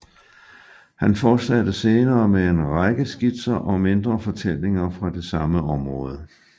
Han fortsatte senere med en række skitser og mindre fortællinger fra det samme område